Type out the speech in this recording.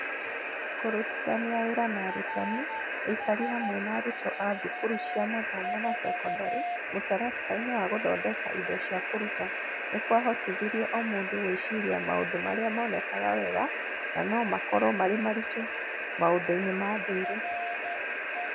Kũrutithania wĩra na arutani, aikari hamwe na arutwo a thukuru cia mathomo na sekondarĩ mũtaratara-inĩ wa gũthondeka indo cia kũruta, nĩ kwahotithirie o mũndũ gwĩciria maũndũ marĩa monekaga wega na no makorwo marĩ maritũ maũndũ-inĩ ma ndũire